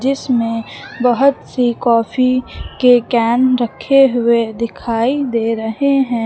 इसमें बहोत सी काफी के कैन रखे हुए दिखाई दे रहे हैं।